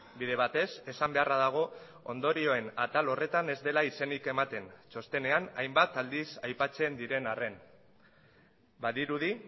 bide batez esan beharra dago ondorioen atal horretan ez dela izenik ematen txostenean hainbat aldiz aipatzen diren arren badirudi